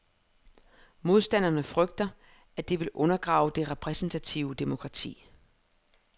Modstanderne frygter, at det vil undergrave det repræsentative demokrati.